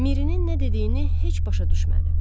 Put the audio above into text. Mirinin nə dediyini heç başa düşmədi.